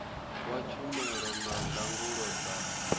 wa tshumelo na ndangulo dza